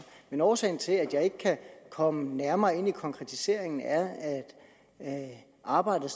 men årsagen til at jeg ikke kan komme nærmere ind på konkretiseringen er at arbejdet